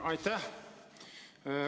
Aitäh!